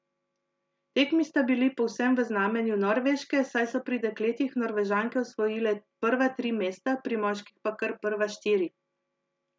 Tekmi sta bili povsem v znamenju Norveške, saj so pri dekletih Norvežanke osvojile prva tri mesta, pri moških pa kar prva štiri.